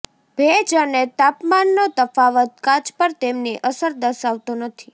ભેજ અને તાપમાનનો તફાવત કાચ પર તેમની અસર દર્શાવતો નથી